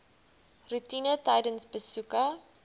roetine tydens besoeke